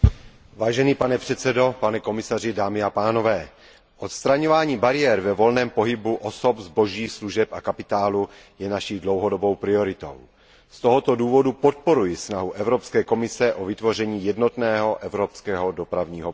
Pane předsedající, odstraňovaní bariér ve volném pohybu osob, zboží, služeb a kapitálu je naší dlouhodobou prioritou. Z tohoto důvodu podporuji snahu Evropské komise o vytvoření jednotného evropského dopravního prostoru.